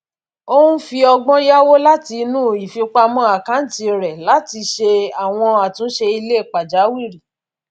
òun fi ọgbón yáwó láti inú ifipamọ àkáǹtì rè láti fi ṣe àwọn àtúnṣe ile pàjáwìrì